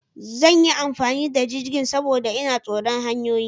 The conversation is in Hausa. Zan yi amfani da jirgin, saboda ina tsoron hanyoyi.